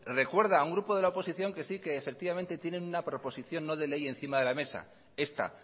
recuerda a una grupo de la oposición que sí que efectivamente tienen una proposición no de ley encima de la mesa esta